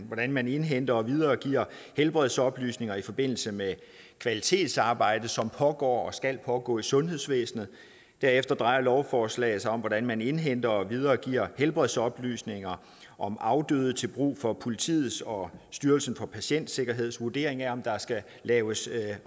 hvordan man indhenter og videregiver helbredsoplysninger i forbindelse med kvalitetsarbejdet som pågår og skal pågå i sundhedsvæsenet derefter drejer lovforslaget sig om hvordan man indhenter og videregiver helbredsoplysninger om afdøde til brug for politiets og styrelsen for patientsikkerheds vurdering af om der skal laves